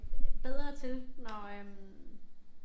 Bedre til når øh